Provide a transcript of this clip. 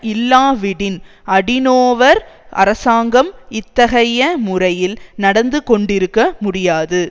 இல்லாவிடின் Adenauer அரசாங்கம் இத்தகைய முறையில் நடந்து கொண்டிருக்க முடியாது